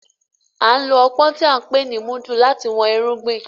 A n ló ọpọn tí a n pè ni mudu láti wón irúgbìn